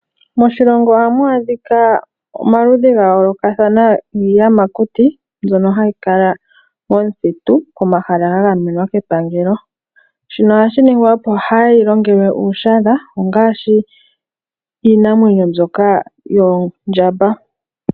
Moshilongo ohamu adhika omaludhi giiyamakuti gayoolokathana mbyono hayi kala momuthitu komahala ga gamenwa kepangelo. Shino ohashi ningwa opo kaayi longelwe uushadha ngaashi iinamwenyo mbyoka yoondjamba.